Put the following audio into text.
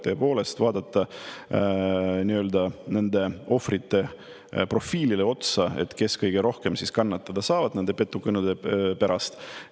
Tuleks vaadata nende ohvrite profiili, kes kõige rohkem kannatada saavad nende petukõnede pärast.